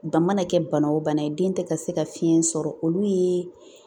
Ba mana kɛ bana o bana ye den tɛ ka se ka fiɲɛ sɔrɔ olu ye